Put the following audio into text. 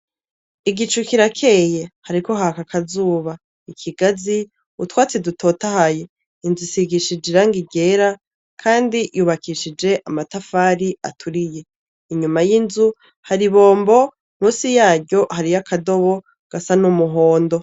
Igicu kirakeye, hariko haka akazuba; ikigazi, utwatsi dutotahaye; inzu isigishije irangi ryera kandi yubakishije amatafari aturiye. Inyuma yinzu hari ibombo , musi yaryo hariy' akadobo gasa n'umuhondo.